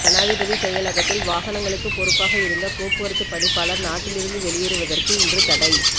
ஜனாதிபதி செயலகத்தில் வாகனங்களுக்கு பொறுப்பாக இருந்த போக்குவரத்து பணிப்பாளர் நாட்டிலிருந்து வெளியேறுவதற்கு இன்று தடை